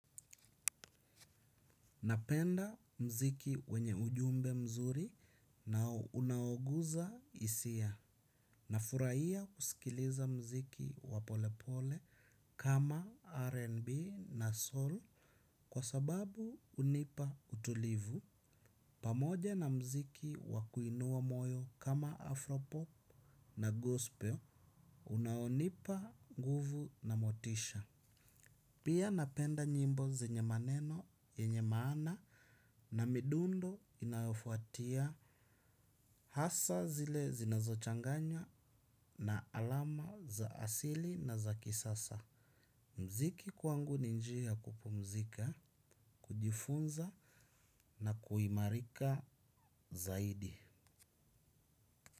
Napenda mziki wenye ujumbe mzuri na unaoguza hisia. Na furahia kusikiliza mziki wa pole pole kama R&B na soul kwa sababu hunipa utulivu. Pamoja na mziki wakuinua moyo kama Afropop na Gospel, unaonipa nguvu na motisha. Pia napenda nyimbo zenye maneno, yenye maana na midundo inayofuatia hasa zile zinazochanganya na alama za asili na za kisasa. Mziki kwangu ni njia ya kupumzika, kujifunza na kuimarika zaidi.